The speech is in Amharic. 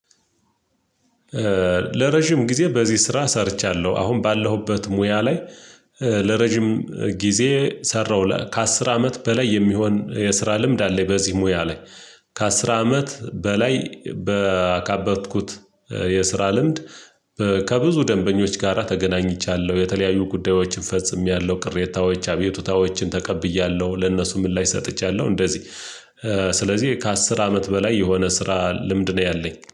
ለረጅም ጊዜ በዚህ ስራ ሰርቻለሁ አሁን ባለሁበት ሙያ ላይ። ለረጅም ጊዜ ሰራው ለ ከአስር አመት በላይ የሚሆን የስራ ልምድ አለኝ በዚህ ሙያ ላይ። ከአስር አመት በላይ በአካበትኩት። የስራ ልምድ። ከብዙ ደንበኞች ጋራ ተገናኝቻለሁ የተለያዩ ጉዳዮችን ፈጽሜያለሁ ቅሬታዎች አቤቱታዎችን ተቀብያለሁ ለእነሱ ምላሽ ሰጥቻለሁ እንደዚህ። ስለዚህ ከአስር አመት በላይ የሆነ ስራ ልምድ ነው ያለኝ